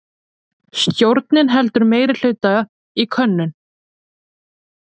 Stjórnin heldur meirihluta í könnun